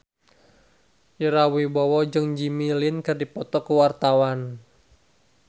Ira Wibowo jeung Jimmy Lin keur dipoto ku wartawan